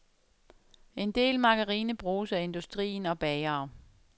En del margarine bruges af industrien og bagere.